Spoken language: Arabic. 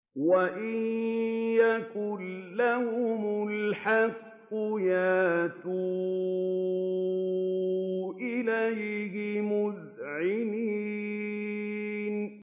وَإِن يَكُن لَّهُمُ الْحَقُّ يَأْتُوا إِلَيْهِ مُذْعِنِينَ